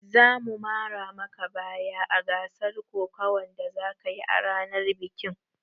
Za mu mara maka baya a gasar kokawan da zakayi a ranar bikin